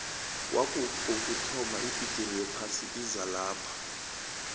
kwaku kokuthoma ibigiri yephasi izalapha